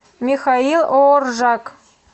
михаил ооржак